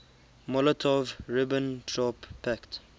molotov ribbentrop pact